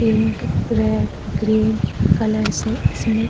pink red green colour से इसमे --